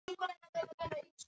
Eru opin rými ennþá málið?